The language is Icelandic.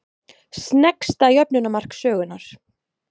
Sneggsta jöfnunarmark sögunnar?